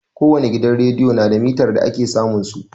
Ko wani gidan rediyo na da mitar da ake samun su.